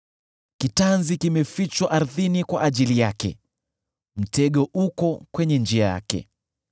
Kitanzi kimefichwa ardhini kwa ajili yake; mtego uko kwenye njia yake.